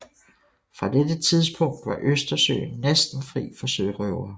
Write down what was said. Fra dette tidspunkt var Østersøen næsten fri for sørøvere